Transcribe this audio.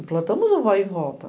Implantamos o vai e volta.